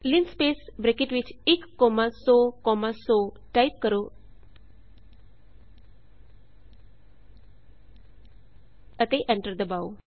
linspace bracket ਵਿਚ 1 comma 100 comma 100 type ਕਰੋ ਅਤੇ ਐਂਟਰ ਦਬਾਓ